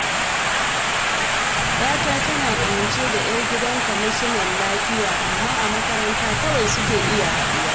Yata tana ƙawance da 'yar gidan Kwamishinan lafiya, amma a makaranta kawai suke iya haɗuwa.